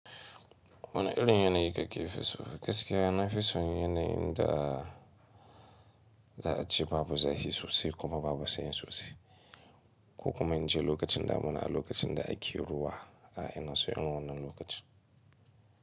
Wane irin yanayi kake fi so? Gaskiya nafi son yanayin da za a ce babu zafi sosai kuma babu sanyi sosai. Ko kuma in ce lokacin damuna a lokacin da ake ruwa ai ina son irin wannan lokacin.